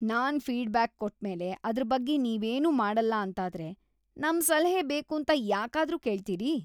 ನಾನ್ feedback ಕೊಟ್ಮೇಲೆ ಅದ್ರ್‌ ಬಗ್ಗೆ ನೀವೇನೂ ಮಾಡಲ್ಲ ಅಂತಾದ್ರೆ ನಮ್‌ ಸಲಹೆ ಬೇಕೂಂತ ಯಾಕಾದ್ರೂ ಕೇಳ್ತೀರಿ?